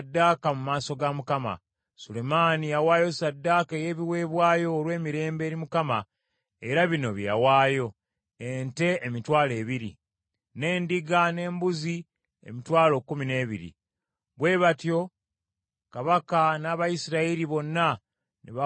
Sulemaani yawaayo ssaddaaka ey’ebiweebwayo olw’emirembe eri Mukama , era bino bye yawaayo: ente emitwalo ebiri, n’endiga n’embuzi emitwalo kkumi n’ebiri. Bwe batyo Kabaka n’Abayisirayiri bonna ne bawonga yeekaalu ya Mukama .